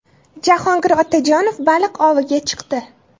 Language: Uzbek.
Jahongir Otajonov baliq oviga chiqdi.